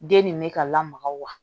Den nin bɛ ka lamaga wa